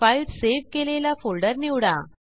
file save केलेला folder निवडा